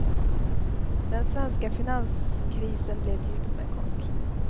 Den svenska finanskrisen blev djup men kort.